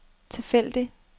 tilfældig